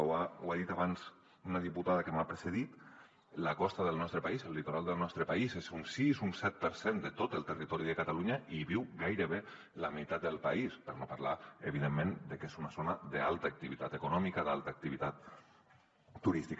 ho ha dit abans una diputada que m’ha precedit la costa del nostre país el litoral del nostre país és un sis un set per cent de tot el territori de catalunya i hi viu gairebé la meitat del país per no parlar evidentment de que és una zona d’alta activitat econòmica d’alta activitat turística